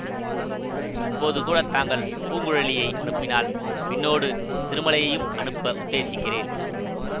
இப்போது கூட தாங்கள் பூங்குழலியை அனுப்பினால் பின்னோடு திருமலையையும் அனுப்ப உத்தேசிக்கிறேன்